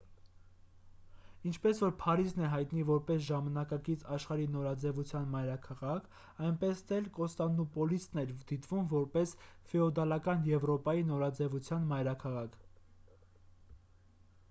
ինչպես որ փարիզն է հայտնի որպես ժամանակակից աշխարհի նորաձևության մայրաքաղաք այնպես էլ կոստանդնուպոլիսն էր դիտվում որպես ֆեոդալական եվրոպայի նորաձևության մայրաքաղաք